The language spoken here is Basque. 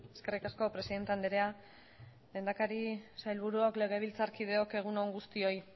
eskerrik asko presidente andrea lehendakari sailburuok legebiltzarkideok egun on guztioi